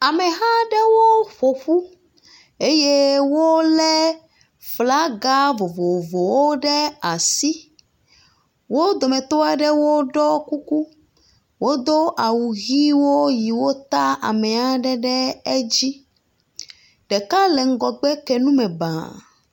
Ameha ɖe ƒoƒu eye wo le asi. Wo dometɔ aɖewo ɖɔ kuku. Wodo awu ʋi siwo ta ame aɖe ɖe edzi. Ɖeka le ŋgɔgbe ke nu me bãa